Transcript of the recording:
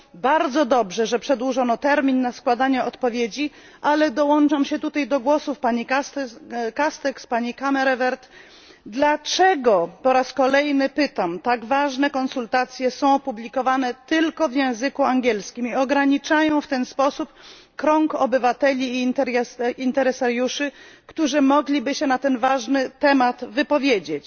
Bardzo dobrze, że przedłużono termin na składanie odpowiedzi, ale dołączam się tutaj do głosów pani Castex i pani Kammerevert dlaczego po raz kolejny pytam tak ważne konsultacje są publikowane tylko w języku angielskim i ograniczają w ten sposób krąg obywateli i zainteresowanych stron, którzy mogliby się na ten ważny temat wypowiedzieć?